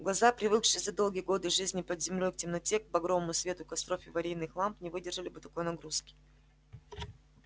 глаза привыкшие за долгие годы жизни под землёй к темноте к багровому свету костров и аварийных ламп не выдержали бы такой нагрузки